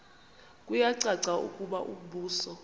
kuyacaca ukuba umbuso